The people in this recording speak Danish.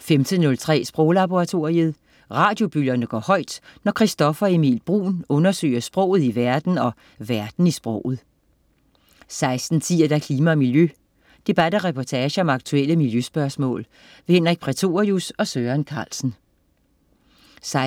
15.03 Sproglaboratoriet. Radiobølgerne går højt, når Christoffer Emil Bruun undersøger sproget i verden og verden i sproget 16.10 Klima og miljø. Debat og reportage om aktuelle miljøspørgsmål. Henrik Prætorius og Søren Carlsen 16.55